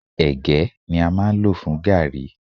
Ègé ní a máa ń lọ̀ fún gààrí.